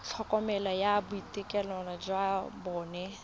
tlhokomelo ya boitekanelo jwa bomme